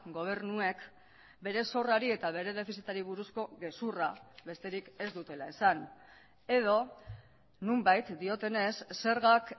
gobernuek bere zorrari eta bere defizitari buruzko gezurra besterik ez dutela esan edo nonbait diotenez zergak